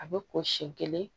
A bɛ ko sen kelen